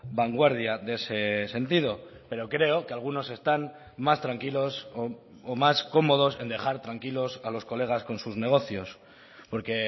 vanguardia de ese sentido pero creo que algunos están más tranquilos o más cómodos en dejar tranquilos a los colegas con sus negocios porque